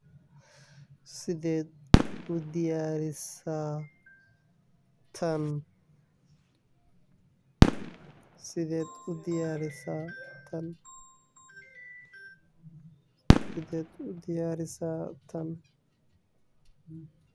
sideed udayarisa tan. sidee udiyarisa tan, sidee udayarisa tan